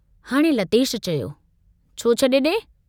हाणे लतेश चयो, छो छड़े डे?